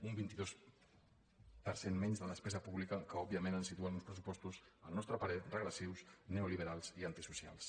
un vint dos per cent menys de despesa pública que òbviament ens situen uns pressupostos al nostre parer regressius neoliberals i antisocials